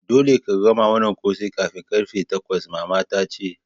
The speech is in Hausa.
Dolle ka gama wanan kose kafin karfe takwas! mama ta ce.